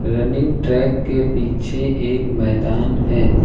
Running track के पीछे एक मैदान है।